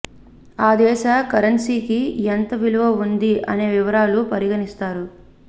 ఆ దేశ కరెన్సీకి ఎంత విలువ ఉంది అనే వివరాలను పరిగణిస్తారు